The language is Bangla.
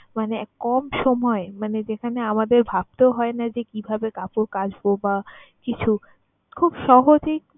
মানে কম সময়ে, মানে যেখানে আমাদের ভাবতেও হয় না যে কিভাবে কাপড় কাচবো বা কিছু খুব সহজেই